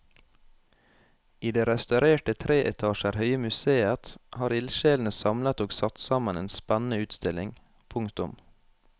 I det restaurerte tre etasjer høye museet har ildsjelene samlet og satt sammen en spennende utstilling. punktum